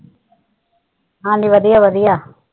ਹਾਂਜੀ ਵਧੀਆ ਵਧੀਆ।